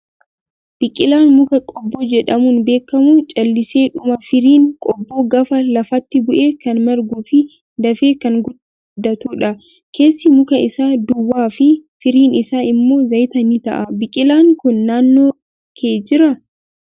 Biqilaan mukaa qobboo jedhamuun beekamu calliseedhuma firiin qobboo gaafa lafatti bu'e kan marguu fi dafee kan guddatudha. Keessi muka isaa duwwaa fi firiin isaa immoo zayita ni ta'a. Biqilaan kun naannoo kee jiraa?